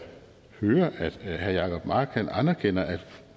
hører at herre jacob mark anerkender at